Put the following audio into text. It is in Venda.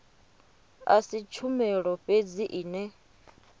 a si tshumelo fhedzi ine